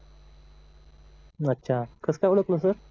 अच्छा कस काय ओळखलं सर?